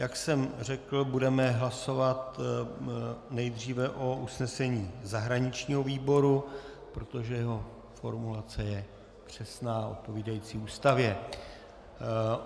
Jak jsem řekl, budeme hlasovat nejdříve o usnesení zahraničního výboru, protože jeho formulace je přesná, odpovídající Ústavě.